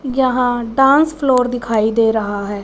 यहां dance floor दिखाई दे रहा है।